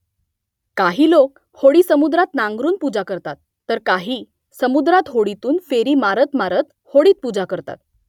काही लोक होडी समुद्रात नांगरून पूजा करतात तर काही समुद्रात होडीतून फेरी मारत मारत होडीत पूजा करतात